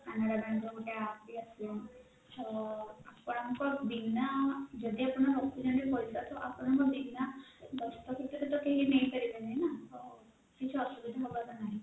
canara bank ର ଗୋଟେ app ବି ଆସିଲାଣି ଛ ଆପଣଙ୍କ ବିନା ଯଦି ଆପଣ ରଖୁଛନ୍ତି ପଇସା ତ ଆପଣଙ୍କ ବିନା ଦସ୍ତଖତ ରେ କେହି ନେଇପାରିବେନି ନା ତ କିଛି ଅସୁବିଧା ହବାର ନାହିଁ